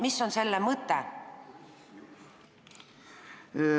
Mis on selle mõte?